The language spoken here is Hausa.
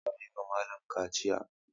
Za a yi wa malam kaciya.